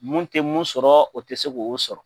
Mun tɛ mun sɔrɔ o tɛ se k'o sɔrɔ.